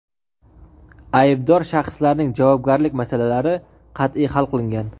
aybdor shaxslarning javobgarlik masalalari qat’iy hal qilingan.